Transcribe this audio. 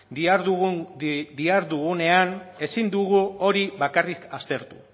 dihardugunean ezin dugu hori bakarrik aztertu